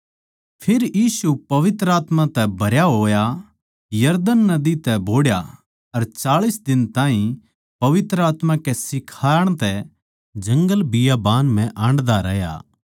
फेर यीशु पवित्र आत्मा तै भरया होया यरदन नदी तै बोहड़या अर चाळीस दिन ताहीं पवित्र आत्मा कै सिखाण तै जंगल बियाबान म्ह हाण्डदा रहया